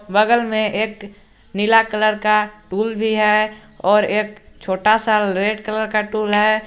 बगल में एक नीला कलर का टूल भी है और एक छोटा सा रेड कलर का टूल है।